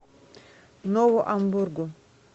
нову амбургу